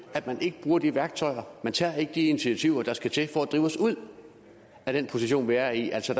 at man ikke bruger de værktøjer at man ikke tager de initiativer der skal til for at drive os ud af den position vi er i altså